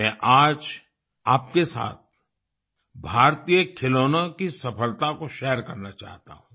मैं आज आपके साथ भारतीय खिलौनों की सफलता को शेयर करना चाहता हूँ